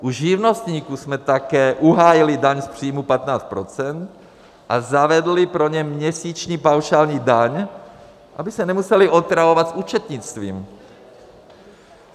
U živnostníků jsme také uhájili daň z příjmu 15 % a zavedli pro ně měsíční paušální daň, aby se nemuseli otravovat s účetnictvím.